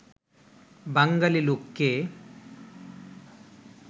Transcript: বাঙালী লোককে